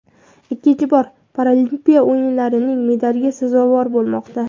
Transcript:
ikkinchi bor Paralimpiya o‘yinlarining medaliga sazovor bo‘lmoqda.